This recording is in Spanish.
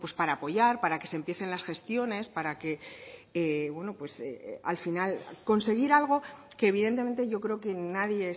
para apoyar para que se empiecen las gestiones para que al final conseguir algo que evidentemente yo creo que nadie